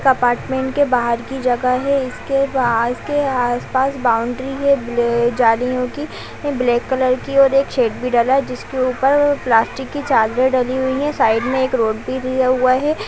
एक अपार्टमेंट के बाहर की जगह है। इसके बा इसके आसपास बाउंड्री है ब्लै जालियों की ब्लैक कलर की और एक शेड भी डला है जिसके ऊपर प्लास्टिक की चादरें डली हुई है। साइड में एक रोड भी दिया हुआ है।